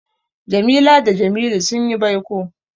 Jamila da Jamilu sun yi baiko.